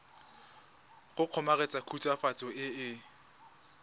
go kgomaretsa khutswafatso e e